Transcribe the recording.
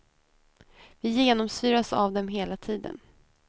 Vi genomsyras av dem hela tiden.